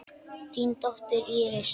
Þín dóttir, Íris.